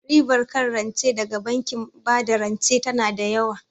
Ribar kan rance daga bankin bada rance tana da yawa